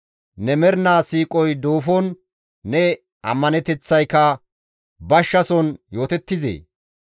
Ne mernaa siiqoy duufon ne ammaneteththayka bashshason yootettizee?